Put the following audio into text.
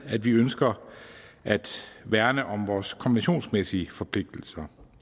at vi ønsker at værne om vores konventionsmæssige forpligtelser